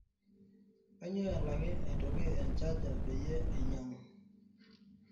kainyoo elaki aitoki e chargerpeyie ainyangu